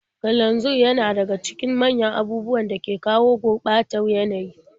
Kananzir yana daga cikin manyan abubuwan da ke kawo gurɓatar yanayi.